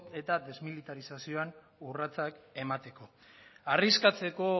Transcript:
eta desmilitarizazioan urratsak emateko arriskatzeko